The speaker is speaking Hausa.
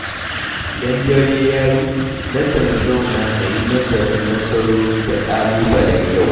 Idan dare ya yi, nakan zauna na yi nazarin nasarori da ƙalubalen yau.